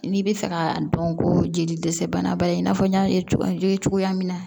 N'i bɛ fɛ ka dɔn ko jeli dɛsɛ bana ba ye i n'a fɔ n y'a ye cogoya ye cogoya min na